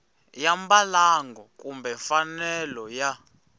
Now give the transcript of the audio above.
ya mbalango kumbe mfanelo ya